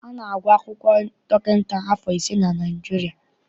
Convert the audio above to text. A na-agụ akwụkwọ dọkịta afọ ise na Naịjirịa.